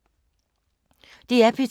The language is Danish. DR P2